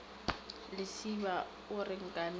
lesiba a re nkane ba